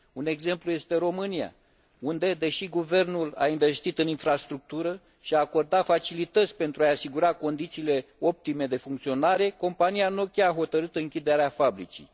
Un exemplu este România, unde, deși guvernul a investit în infrastructură și a acordat facilități pentru a i asigura condițiile optime de funcționare, compania Nokia a hotărât închiderea fabricii.